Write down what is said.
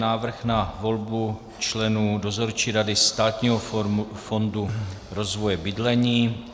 Návrh na volbu členů Dozorčí rady Státního fondu rozvoje bydlení